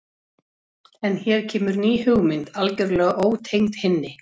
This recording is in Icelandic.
En hér kemur ný hugmynd, algjörlega ótengd hinni.